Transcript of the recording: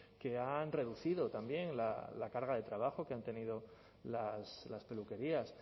que han reducido también la carga de trabajo que han tenido las peluquerías